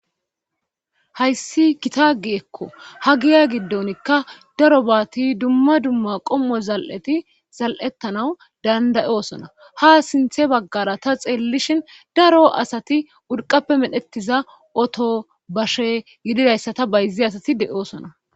hayssi kitagi ekko ha giya giddonikka daro baati dumma dumma qommo zal7eti zal7ettanaw dandayosona ha sinthe baggara ta xeellishin daro asati urqappe medhettiza oto bashe yididayssa ta bayzi asati de7osona